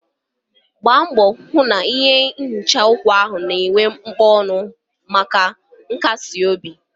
Gbaa mbọ hụ na ihe nhicha uku na-akpọnwụ maka nkasi obi.